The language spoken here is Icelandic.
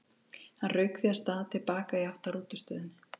Hann rauk því af stað til baka í átt að rútustöðinni.